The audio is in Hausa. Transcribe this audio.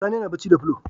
Sani yana bacci da fulo